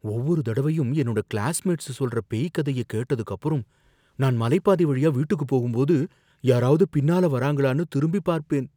ஒவ்வொரு தடவையும் என்னோட கிளாஸ்மேட்ஸ் சொல்ற பேய் கதைய கேட்டதுக்கு அப்புறம், நான் மலை பாதை வழியா வீட்டுக்குப் போகும்போது யாராவது பின்னால வராங்களானு திரும்பி பார்ப்பேன்.